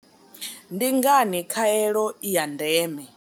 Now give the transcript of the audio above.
Ndi ngani khaelo i ya ndeme?